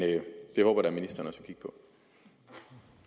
det håber jeg da ministeren også